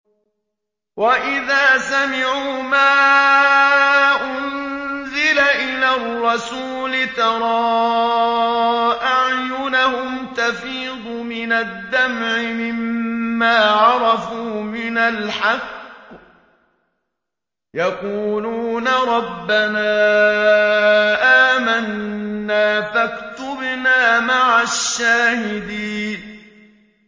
وَإِذَا سَمِعُوا مَا أُنزِلَ إِلَى الرَّسُولِ تَرَىٰ أَعْيُنَهُمْ تَفِيضُ مِنَ الدَّمْعِ مِمَّا عَرَفُوا مِنَ الْحَقِّ ۖ يَقُولُونَ رَبَّنَا آمَنَّا فَاكْتُبْنَا مَعَ الشَّاهِدِينَ